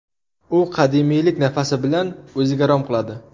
U qadimiylik nafasi bilan o‘ziga rom qiladi.